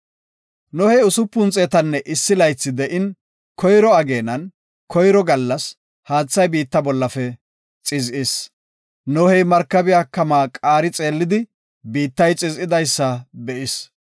Nohey usupun xeetanne issi laythi de7in, koyro ageenan koyro gallas, haathay biitta bollafe xiz7is. Nohey markabiya kamaa qaari xeellidi, biittay xiz7idaysa be7is.